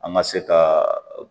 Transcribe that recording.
An ka se ka